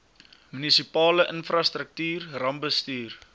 munisipale infrastruktuur rampbestuur